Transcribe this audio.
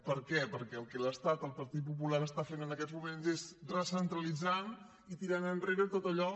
per què perquè el que l’estat el que el partit popular està fent en aquest moments és recentralitzant i tirant enrere tot allò